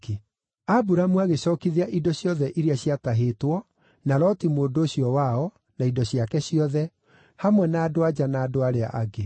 Aburamu agĩcookithia indo ciothe iria ciatahĩtwo, na Loti mũndũ ũcio wao, na indo ciake ciothe, hamwe na andũ-a-nja na andũ arĩa angĩ.